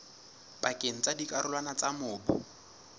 pakeng tsa dikarolwana tsa mobu